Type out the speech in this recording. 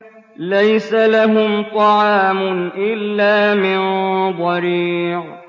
لَّيْسَ لَهُمْ طَعَامٌ إِلَّا مِن ضَرِيعٍ